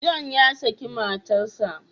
John ya saki matarsa.